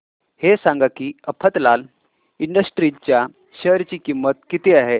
हे सांगा की मफतलाल इंडस्ट्रीज च्या शेअर ची किंमत किती आहे